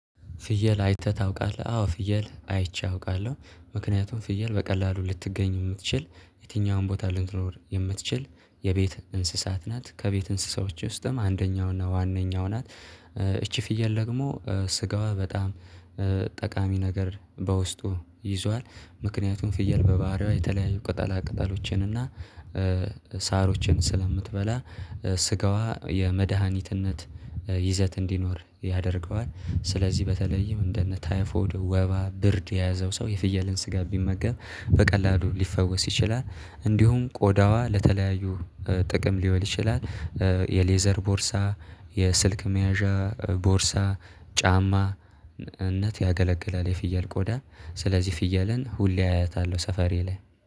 ፍየል አይተህ ታውቃለህ? አዎ ፍየል አይቼ አውቃለሁ። ምክንያቱም ፍየል በቀላሉ ልትገኝ የምትችል የትኛውም ቦታ ልንትኖር የምትችል የቤት እንስሳት ናት። ከቤት እንስሳዎች ውስጥም አንደኛው እና ዋነኛው ናት። እቺ ፍየል ደግሞ ስጋዋ በጣም ጠቃሚ ነገር በውስጡ ይዟል። ምክንያቱም ፍየል በባህሪዋ የተለያዩ ቅጠላ ቅጠሎችን እና ሳሮችን ስለምትበላ ስጋዋ የመድሃኒትነት ይዘት እንዲኖር ያደርገዋል ስለዚህ በተለይም እንደነ ታይፎድ ወባ ብርድ የያዘው ሰው የፍየልን ስጋ ቢመገብ በቀላሉ ሊፈወስ ይችላል። እንዲሁም ቆዳዋ ለተለያዩ ጥቅም ሊውል ይችላል። የሌዘር ቦርሳ የስልክ መያዣ ቦርሳ ጫማ ነት ያገለገላል። የፍየል ቆዳ ስለዚህ ፍየልን ሁሌ አያታለሁ ሰፈሬ ላይ